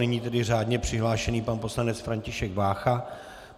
Nyní tedy řádně přihlášený pan poslanec František Vácha.